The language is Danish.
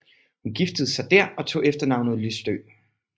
Hun giftede sig der og tog efternavnet Lystø